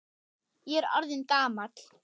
Ég er orðinn gamall.